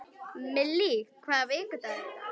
Millý, hvaða vikudagur er í dag?